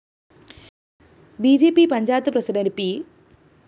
B J P panchayat president P